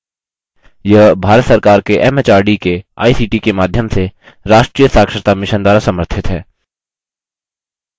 यह भारत सरकार के एमएचआरडी के आईसीटी के माध्यम से राष्ट्रीय साक्षरता mission द्वारा समर्थित है